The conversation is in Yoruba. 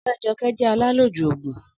Ọ̀rẹ́ Jọkẹ́ jẹ́ alálòjù òògùn